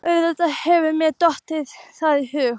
Auðvitað hefur mér dottið það í hug.